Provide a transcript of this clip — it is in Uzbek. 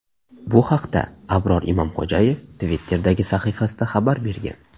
Bu haqda Abror Imomxo‘jayev Twitter’dagi sahifasida xabar bergan .